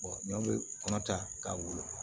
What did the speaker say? n'a bɛ kɔnɔ ta k'a wolo